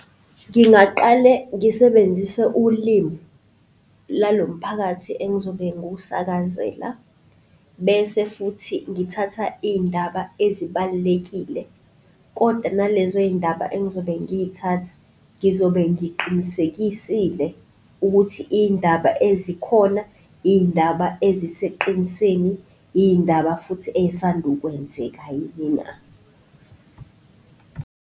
Ngingaqale ngisebenzise ulimi lalomphakathi engizobe ngiwusakazela, bese futhi ngithatha iy'ndaba ezibalulekile kodwa nalezo zindaba engizobe ngiy'thatha ngizobe ngiqinisekisile ukuthi iy'ndaba ezikhona, iy'ndaba eziseqinisweni, iy'ndaba futhi ey'sandukwenzeka yini na?